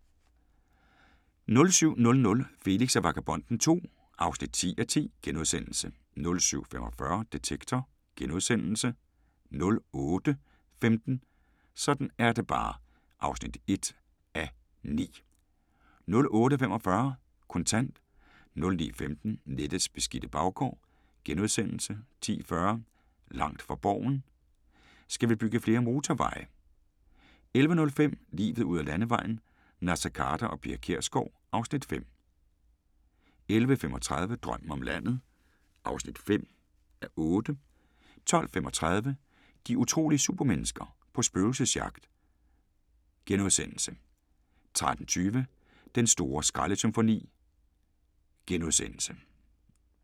07:00: Felix og Vagabonden II (10:10)* 07:45: Detektor * 08:15: Sådan er det bare (1:9) 08:45: Kontant 09:15: Nettets beskidte baggård * 10:40: Langt fra Borgen: Skal vi bygge flere motorveje? 11:05: Livet ud ad Landevejen: Naser Khader og Pia Kjærsgaard (Afs. 5) 11:35: Drømmen om landet (5:8) 12:35: De utrolige supermennesker – på spøgelsesjagt * 13:20: Den store skraldesymfoni *